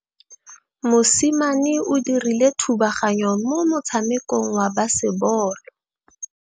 Mosimane o dirile thubaganyô mo motshamekong wa basebôlô.